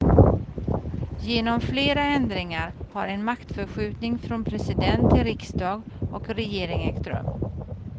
Genom flera ändringar har en maktförskjutning från president till riksdag och regering ägt rum.